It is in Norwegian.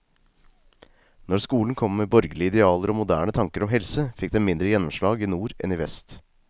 Når skolen kom med borgerlige idealer og moderne tanker om helse, fikk den mindre gjennomslag i nord enn i vest.